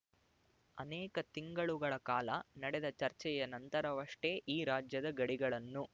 ಅನೇಕ ತಿಂಗಳುಗಳ ಕಾಲ ನಡೆದ ಚರ್ಚೆಯ ನಂತರವಷ್ಟೆ ಈ ರಾಜ್ಯದ ಗಡಿಗಳನ್ನು